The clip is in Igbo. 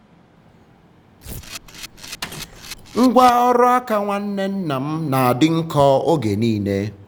ngwá um ọrụ aka nwanne nna m na-adị nkọ oge niile.